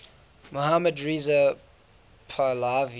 mohammad reza pahlavi